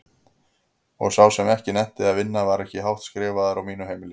Og sá sem ekki nennti að vinna var ekki hátt skrifaður á mínu heimili.